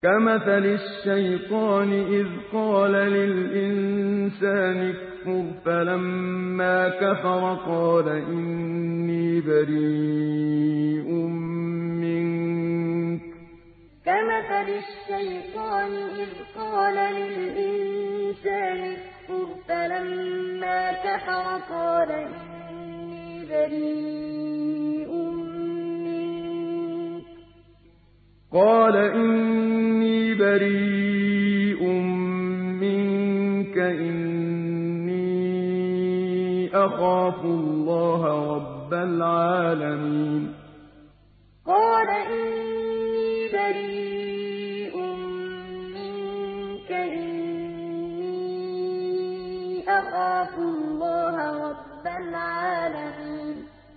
كَمَثَلِ الشَّيْطَانِ إِذْ قَالَ لِلْإِنسَانِ اكْفُرْ فَلَمَّا كَفَرَ قَالَ إِنِّي بَرِيءٌ مِّنكَ إِنِّي أَخَافُ اللَّهَ رَبَّ الْعَالَمِينَ كَمَثَلِ الشَّيْطَانِ إِذْ قَالَ لِلْإِنسَانِ اكْفُرْ فَلَمَّا كَفَرَ قَالَ إِنِّي بَرِيءٌ مِّنكَ إِنِّي أَخَافُ اللَّهَ رَبَّ الْعَالَمِينَ